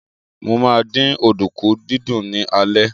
Mo ma dín ọ̀dùnkún dídún ní alẹ́